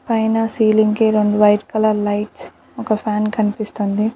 పైన సీలింగ్ కి రెండు వైట్ కలర్ లైట్స్ ఒక ఫ్యాన్ కనిపిస్తోంది.